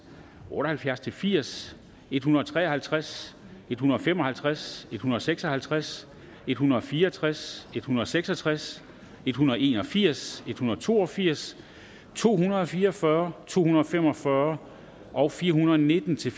otte og halvfjerds til firs en hundrede og tre og halvtreds en hundrede og fem og halvtreds en hundrede og seks og halvtreds en hundrede og fire og tres en hundrede og seks og tres en hundrede og en og firs en hundrede og to og firs to hundrede og fire og fyrre to hundrede og fem og fyrre og fire hundrede og nitten til